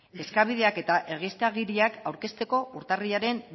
eskabideak eta egiaztagiriak aurkezteko urtarrilaren